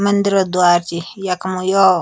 मंदिरों द्वार च यखम यो।